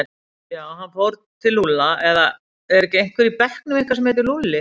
Já, hann fór til Lúlla eða er ekki einhver í bekknum ykkar sem heitir Lúlli?